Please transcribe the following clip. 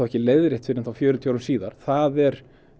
ekki leiðrétt fyrr en fjörutíu árum síðar það er